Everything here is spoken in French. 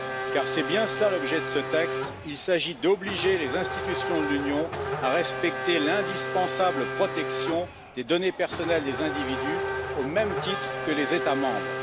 Car c'est bien cela l'objet de ce texte il s'agit d'obliger les institutions de l'Union à respecter l'indispensable protection des données personnelles des individus, au même titre que les États membres.